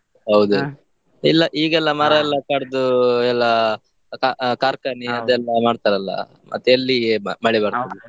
ಎಲ್ಲ ಈಗೆಲ್ಲ ಮರ ಎಲ್ಲ ಕಡ್ದು ಎಲ್ಲಾ ಕಾ~ ಕಾರ್ಖಾನೆ ಅದೆಲ್ಲ ಮಾಡ್ತಾರಲ್ಲ, ಮತ್ತೆ ಎಲ್ಲಿಗೆ ಮ~ ಮಳೆ .